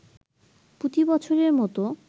প্রতিবছরের মত